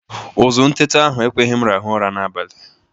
Ụzụ ntete ahụ ekweghi m rahụ ụra n'abalị.